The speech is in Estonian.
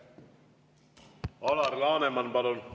Alar Laneman, palun!